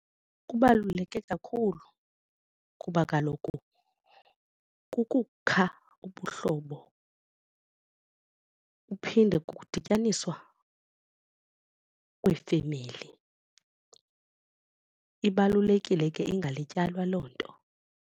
Kubaluleke kakhulu kuba kaloku kukukha ubuhlobo kuphinde kudityaniswa kweefemeli, ibalulekile ke ingalityalwa loo nto.